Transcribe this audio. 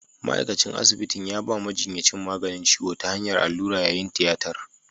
Ma’aikacin asibitin ya ba majinyacin maganin ciwo ta hanyar allura yayin tiyatar.